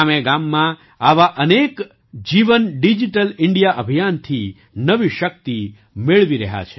ગામેગામમાં આવાં અનેક જીવન ડિજિટલ ઇન્ડિયા અભિયાનથી નવી શક્તિ મેળવી રહ્યા છે